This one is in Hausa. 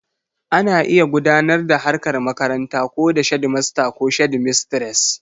Ana iya gudanar da harkar makaranta ko da shedimasta ko shedimistres